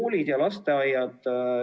Koolid ja lasteaiad.